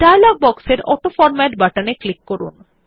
dialogue বক্সের autoformat button এ click করুন